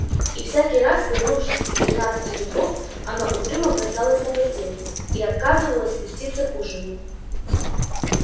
и всякий раз вернувшись из двенадцати дубов она угрюмо бросалась на постель и отказывалась спуститься к ужину